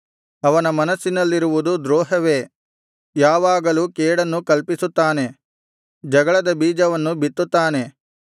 ಅವನ ಮನಸ್ಸಿನಲ್ಲಿರುವುದು ದ್ರೋಹವೇ ಯಾವಾಗಲೂ ಕೇಡನ್ನು ಕಲ್ಪಿಸುತ್ತಾನೆ ಜಗಳದ ಬೀಜವನ್ನು ಬಿತ್ತುತ್ತಾನೆ